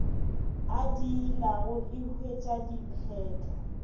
a diilago e huetša diphetho